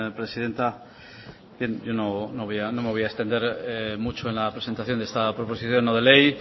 presidenta yo no me voy a extender mucho en la presentación de esta proposición no de ley